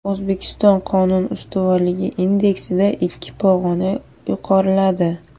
O‘zbekiston Qonun ustuvorligi indeksida ikki pog‘ona yuqoriladi.